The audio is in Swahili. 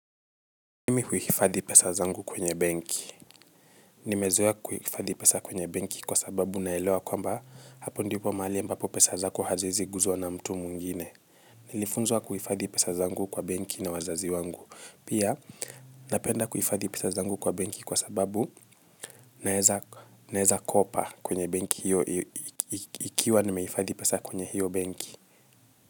Mimi huifadhi pesa zangu kwenye benki. Nimezoea kuifadhi pesa kwenye benki kwa sababu naelewa kwamba hapo ndipo mahali ambapo pesa zako haziwezi guzwa na mtu mwingine. Nilifunzwa kuhifadhi pesa zangu kwa benki na wazazi wangu. Pia napenda kuhifadhi pesa zangu kwa benki kwa sababu naeza naeza kopa kwenye benki hiyo ikiwa nimeifadhi pesa kwenye hiyo banki.